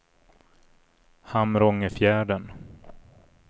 Hamrångefjärden